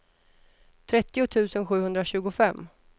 trettio tusen sjuhundratjugofem